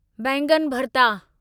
बैंगन भर्ता